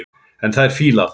En þær fíla það.